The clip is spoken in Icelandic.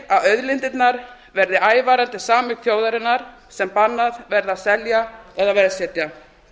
þar sem segir að auðlind þjóðarinnar sem bannað verði að selja eða veðsetja